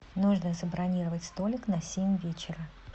нужно забронировать столик на семь вечера